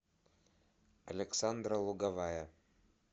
александра луговая